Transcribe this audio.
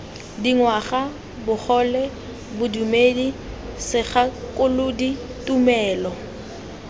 dingwaga bogole bodumedi segakolodi tumelo